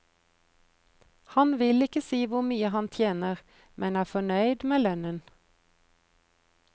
Han vil ikke si hvor mye han tjener, men er fornøyd med lønnen.